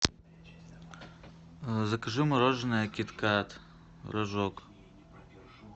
закажи мороженое кит кат рожок